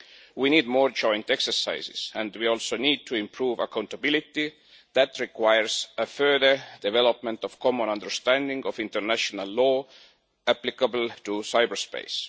We need more joint exercises and we also need to improve accountability, which requires further development of a common understanding of the international law applicable to cyberspace.